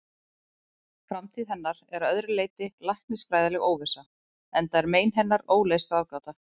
Framtíð hennar er að öðru leyti læknisfræðileg óvissa, enda er mein hennar óleyst ráðgáta.